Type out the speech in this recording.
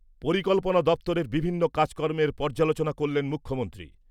পরিকল্পনা দপ্তরের বিভিন্ন কাজকর্মের পর্যালোচনা করলেন মুখ্যমন্ত্রী।